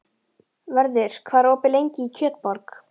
Vörður, hvað er opið lengi í Kjötborg?